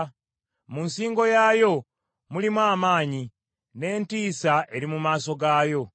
Mu nsingo yaayo mulimu amaanyi, n’entiisa eri mu maaso gaayo.